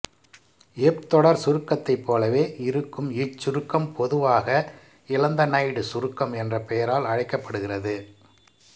எப் தொடர் சுருக்கத்தைப் போலவே இருக்கும் இச்சுருக்கம் பொதுவாக இலந்தனைடு சுருக்கம் என்ற பெயரால் அழைக்கப்படுகிறது